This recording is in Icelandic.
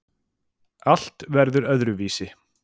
Allt verður öðruvísi.